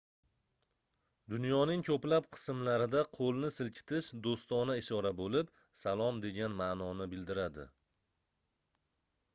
dunyoning koʻplab qismlarida qoʻlni silkitish doʻstona ishora boʻlib salom degan maʼnoni bildiradi